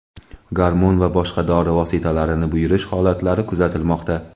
gormon va boshqa dori vositalarini buyurish holatlari kuzatilmoqda.